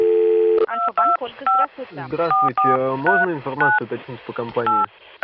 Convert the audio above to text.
альфа-банк ольга здравствуйте здравствуйте можно информацию уточнить по компании